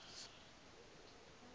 bongwe ke tla ba le